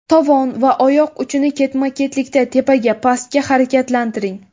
Tovon va oyoq uchini ketma-ketlikda tepaga, pastga harakatlantiring.